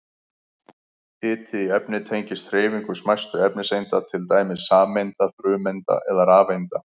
Hiti í efni tengist hreyfingu smæstu efniseinda, til dæmis sameinda, frumeinda eða rafeinda.